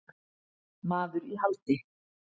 Maður í haldi